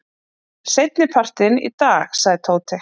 Seinnipartinn í dag sagði Tóti.